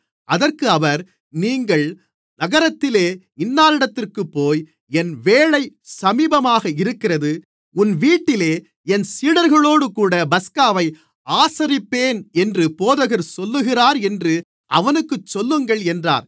அதற்கு அவர் நீங்கள் நகரத்திலே இன்னானிடத்திற்குப்போய் என் வேளை சமீபமாக இருக்கிறது உன் வீட்டிலே என் சீடர்களோடுகூட பஸ்காவை ஆசரிப்பேன் என்று போதகர் சொல்லுகிறார் என்று அவனுக்குச் சொல்லுங்கள் என்றார்